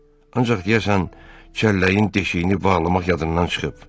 Ancaq deyəsən çəlləyin deşiyini bağlamaq yadından çıxıb.